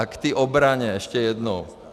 A k té obraně ještě jednou.